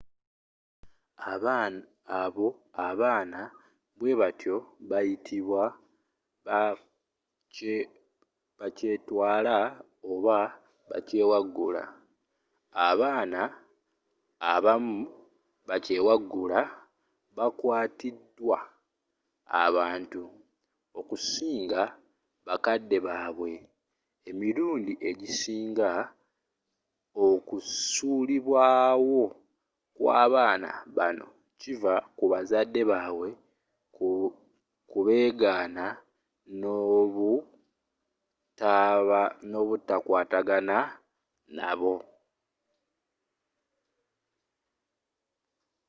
abo abaana bwe batyo babayita bakyetwala” oba bakyewaggula. abaana abamu bakyewaggula bakwatiddwa abantu okusinga bakadde baabwe; emirundi egisinga okusuulibwawo kw'abaana bano kiva ku bazadde baabwe kubeegana n’obutakwatagana nabo